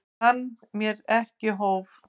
Kann mér ekki hóf.